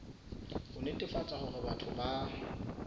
ho netefatsa hore batho ba